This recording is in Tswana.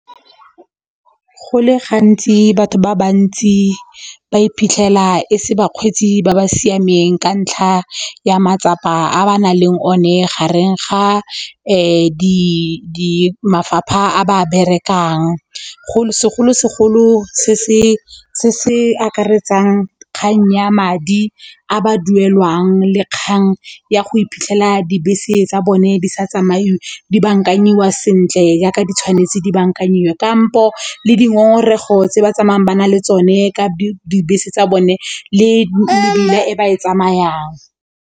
Go le gantsi batho ba bantsi ba iphitlhela e se bakgweetsi ba ba siameng ka ntlha ya matsapa a ba nang le one gareng ga mafapha a ba berekang segolosegolo se se akaretsang kgang ya madi a ba duelwang le kgang ya go iphitlhela dibese tsa bone di sa tsamaiwe, di bankanyiwa sentle yaka di tshwanetse di bankanyiwe kampo le dingongorego tse ba tsamayang ba na le tsone ka dibese tsa bone le e ba e tsamayang.